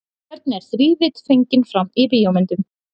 Hvernig er þrívídd fengin fram í bíómyndum?